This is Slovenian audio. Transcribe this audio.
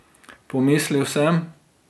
Pomislil sem.